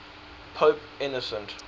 pope innocent